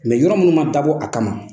yɔrɔ munnu ma dabɔ a kama